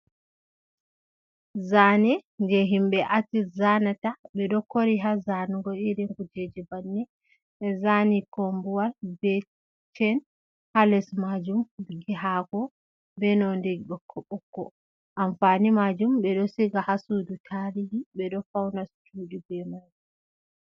Zani je himbe atis zanata. be ɗo kori ha zanugo irin kujeje bannin. Be zani kombuwal bebchen ha les majum. Hako be nonɗe bokko-bokko. Amfani majum be ɗo siga ha suɗu talihi. Be ɗo fauna suɗi be mai.